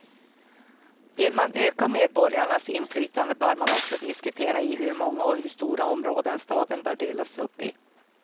Vill man öka medborgarnas inflytande bör man också diskutera i hur många och hur stora områden staden bör delas upp.